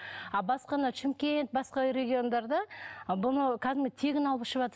а басқа мынау шымкент басқа региондарда бұны кәдімгі тегін алып ішіватыр